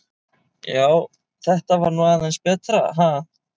Já, þetta var nú aðeins betra, ha!